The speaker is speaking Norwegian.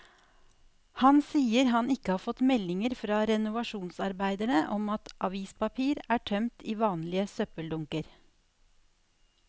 Han sier han ikke har fått meldinger fra renovasjonsarbeiderne om at avispapir er tømt i vanlige søppeldunker.